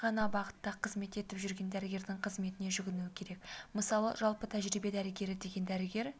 ғана бағытта қызмет етіп жүрген дәрігердің қызметіне жүгінуі керек мысалы жалпы тәжірибе дәрігері деген дәрігер